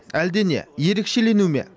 әлде не ерекшелену ме